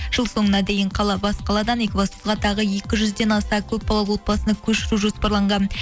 жыл соңына дейін қала бас қаладан екібастұзға тағы екі жүзден аса көпбалалы отбасыны көшіру жоспарланған